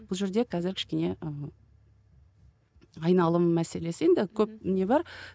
бұл жерде қазір кішкене ы айналым мәселесі енді көп не бар